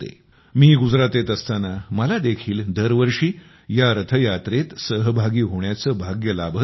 मी गुजरातेत असताना मला देखील दर वर्षी या रथयात्रेत सहभागी होण्याचे भाग्य लाभत होते